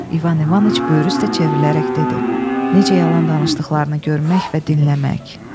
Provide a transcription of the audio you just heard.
İvan İvanıç böyrü üstə çevrilərək dedi: Necə yalan danışdıqlarını görmək və dinləmək.